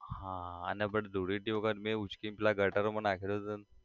હા અને but ધૂળેટી વખત મે ઉચકીને પેલા ગટરમા નાખ્યો તો તને